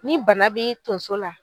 Ni bana b'i tonso la